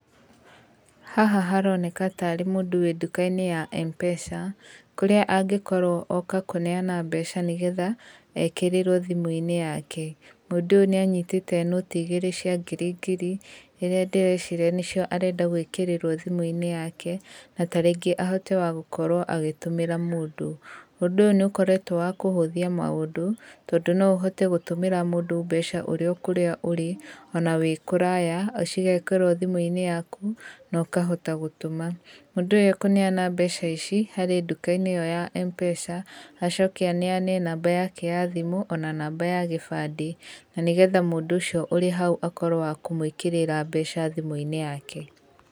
Haha haroneka ta arĩ mũndũ wĩ nduka-inĩ ya M-pesa, kũrĩa angĩkorwo oka kũneana mbeca nĩgetha ekĩrĩrwo thimũ-inĩ yake. Mũndũ ũyũ nĩ anyitĩte nũti igĩrĩ cia ngiri ngiri, irĩa ndĩreciria nĩcio arenda gwĩkĩrĩrwo thimũ-inĩ yake, na tarĩngĩ ahote wa gũkorwo agĩtũmĩra mũndũ. Ũndũ ũyũ nĩ ũkoretwo wa kũhũthia maũndũ, tondũ no ũhote gũtũmĩra mũndũ mbeca ũrĩo kũrĩa ũrĩ, ona wĩ kũraya, cigekĩrwo thimũ-inĩ yaku, na ũkahota gũtũma. Mũndũ ũyũ ekũneana mbeca ici harĩ nduka-inĩ ĩyo ya M-pesa, acoke aneane namba yake ya thimũ ona namba ya gĩbandĩ na nĩgetha mũndũ ũcio ũrĩ hau akorwo wa kũmũĩkĩrĩra mbeca thimũ-inĩ yake.